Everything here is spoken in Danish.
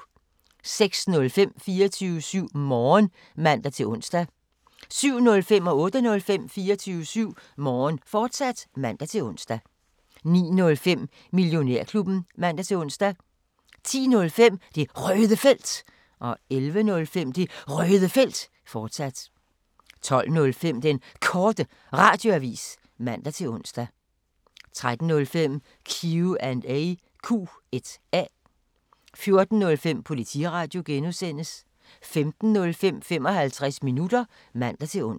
06:05: 24syv Morgen (man-ons) 07:05: 24syv Morgen, fortsat (man-ons) 08:05: 24syv Morgen, fortsat (man-ons) 09:05: Millionærklubben (man-ons) 10:05: Det Røde Felt 11:05: Det Røde Felt, fortsat 12:05: Den Korte Radioavis (man-ons) 13:05: Q&A 14:05: Politiradio (G) 15:05: 55 minutter (man-ons)